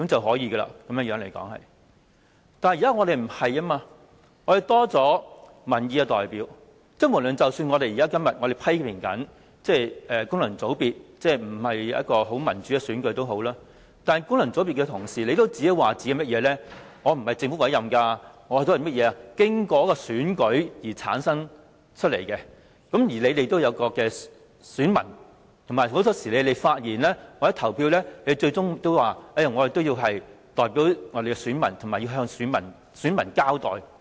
可是，現時的情況已經改變，議會增加了民意代表，即使我們今天仍然批評功能界別議員不是民主選舉產生，但功能界別議員也會說自己並非由政府委任，而是經過選舉產生，他們也有選民，在發言或投票時，他們也會反映選民意向及向選民交代。